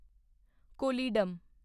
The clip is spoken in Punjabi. ਕੋਲੀਡਮ